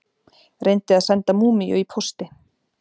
Reyndi að senda múmíu í pósti